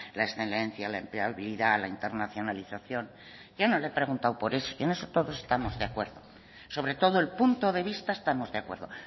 la excelencia la empleabilidad la internacionalización yo no le he preguntado por eso en todo eso estamos de acuerdo sobre todo el punto de vista estamos de acuerdo